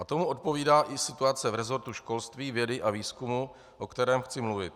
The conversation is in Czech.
A tomu odpovídá i situace v resortu školství, vědy a výzkumu, o kterém chci mluvit.